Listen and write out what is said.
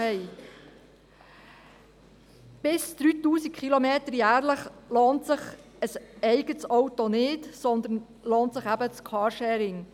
Bis zu 3000 Kilometer jährlich lohnt sich ein eigenes Auto nicht, sondern es lohnt sich eben das Carsharing.